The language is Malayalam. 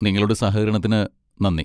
നിങ്ങളുടെ സഹകരണത്തിന് നന്ദി.